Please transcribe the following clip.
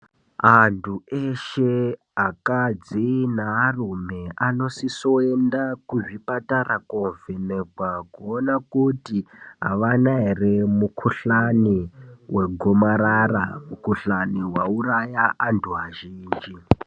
Antu eshe akadzi nearume anosiso kuenda kuzvipatara koona kuti aana ere mukuhlani wegomarara mukuhlani wauraya anhu azhinji.